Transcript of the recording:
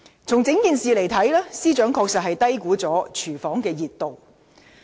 從整件事件來看，司長確實低估了"熱廚房"的溫度。